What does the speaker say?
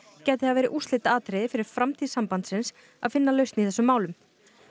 gæti það verið úrslitaatriði fyrir framtíð sambandsins að finna lausn í þessum málum